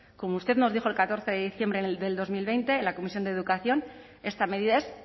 como usted nos dijo el catorce de diciembre del dos mil veinte en la comisión de educación esta medida es